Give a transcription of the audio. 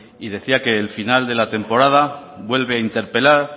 y decía que el final de la temporada vuelve a interpelar